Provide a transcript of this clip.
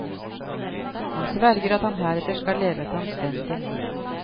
Han sverger at han heretter skal leve et anstendig liv.